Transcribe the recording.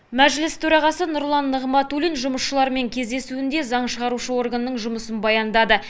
мәжіліс төрағасы нұрлан нығматулин жұмысшылармен кездесуінде заң шығару органның жұмысын баяндады